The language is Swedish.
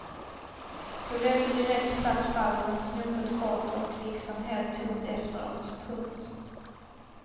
Det blev inte direkt platt fall men snopet kort och liksom helt tomt efteråt. punkt